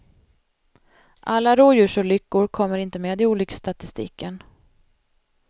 Alla rådjursolyckor kommer inte med i olycksstatistiken.